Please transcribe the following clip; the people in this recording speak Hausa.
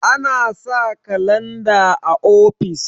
ana sa kalanda o ofis